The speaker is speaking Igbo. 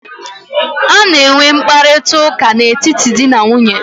A na-enwe mkparịta ụka n'etiti di na nwunye.